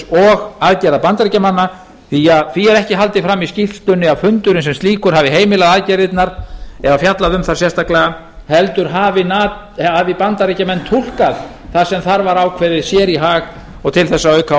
og aðgerða bandaríkjamanna því að því er ekki haldið fram í skýrslunni að fundurinn sem slíkur hafi heimilað aðgerðirnar eða fjallað um þær sérstaklega heldur hafi bandaríkjamenn túlkað það sem þar var ákveðið sér í hag og til þess að auka